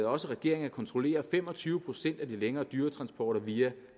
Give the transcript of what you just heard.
også regeringen at kontrollere fem og tyve procent af de længere dyretransporter via